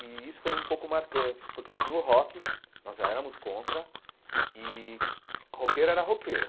E isso foi um pouco marcante, porque tinha o rock, nós já éramos contra, e roqueiro era roqueiro.